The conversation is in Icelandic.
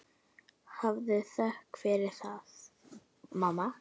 Hafðu þökk fyrir það, mamma.